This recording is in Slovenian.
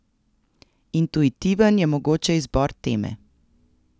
Intuitiven je mogoče izbor teme.